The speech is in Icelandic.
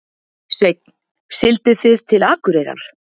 Sveinn: Siglduð þið til Akureyrar?